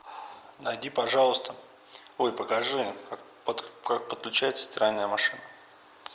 найди пожалуйста ой покажи как подключается стиральная машина